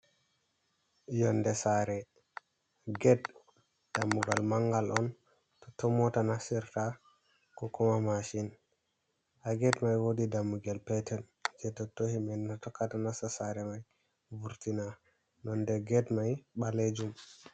Yonde saare, get dammugal mangal on, totton mota nasirta ko kuma mashin. Haa get mai wodi dammugel petel jei totto himbe tokata nasta sare mai, vurtina, nonde get mai ɓalejum.